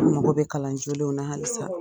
An mago bɛ kalanjolenw na halisa.